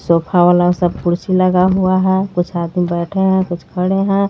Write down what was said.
Sofa वाला कुर्सी लगा हुआ है कुछ आदमी बैठे हैं कुछ खड़े हैं।